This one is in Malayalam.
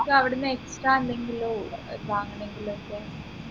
ഇപ്പൊ അവിടുന്ന് extra എന്തെങ്കിലും ഏർ വാങ്ങണെങ്കിലോക്കെ